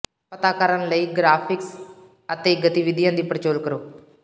ਪਤਾ ਕਰਨ ਲਈ ਗਰਾਫਿਕਸ ਅਤੇ ਗਤੀਵਿਧੀਆਂ ਦੀ ਪੜਚੋਲ ਕਰੋ